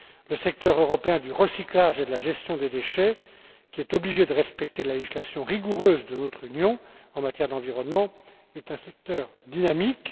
Le secteur européen du recyclage et de la gestion des déchets, qui est obligé de respecter la législation rigoureuse de notre Union en matière d'environnement, est un secteur dynamique.